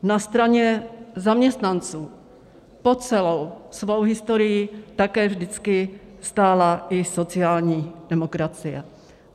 Na straně zaměstnanců po celou svou historii také vždycky stála i sociální demokracie.